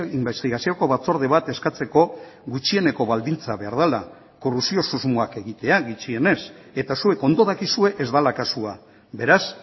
inbestigazioko batzorde bat eskatzeko gutxieneko baldintza behar dela korrupzio susmoak egitea gutxienez eta zuek ondo dakizue ez dela kasua beraz